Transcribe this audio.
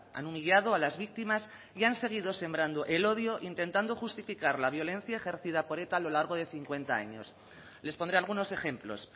han humillado a las víctimas y han seguido sembrando el odio intentando justificar la violencia ejercida por eta a lo largo de cincuenta años les pondré algunos ejemplos